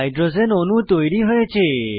hydrogen অণু তৈরী হয়েছে